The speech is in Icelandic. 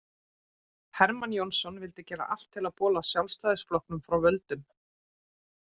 Hermann Jónasson vildi gera allt til að bola Sjálfstæðisflokknum frá völdum.